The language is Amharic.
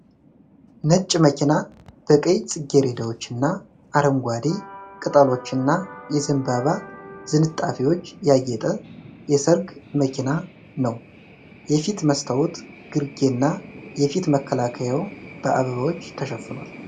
ነጭ መኪና በቀይ ጽጌረዳዎች እና አረንጓዴ ቅጠሎችና የዘንባባ ዝንጣፊዎች ያጌጠ የሠርግ መኪና ነው። የፊት መስታወት ግርጌና የፊት መከለያው በአበባዎች ተሽፍኗል።